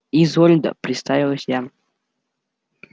изольда представилась я